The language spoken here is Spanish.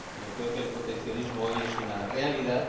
yo creo que el proteccionismo hoy es una realidad.